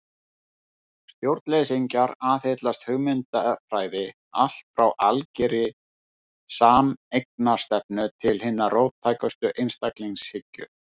Stjórnleysingjar aðhyllast hugmyndafræði allt frá algerri sameignarstefnu til hinnar róttækustu einstaklingshyggju.